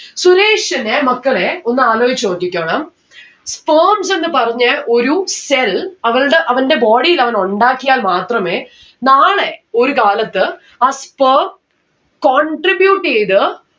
സുരേഷിനെ മക്കളെ ഒന്ന് ആലോജിച്ച് നോക്കിക്കോണം. sperms എന്ന് പറഞ്ഞ ഒരു cell അവൾടെ അവന്റെ body ൽ അവൻ ഉണ്ടാക്കിയാൽ മാത്രമേ നാളെ ഒരു കാലത്ത് ആ sperm contribute എയ്ത്